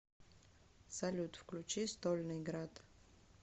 салют включи стольный град